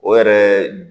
O yɛrɛ